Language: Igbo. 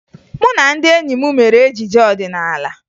Mụ na ndị enyi m mere ejije ọdịnaala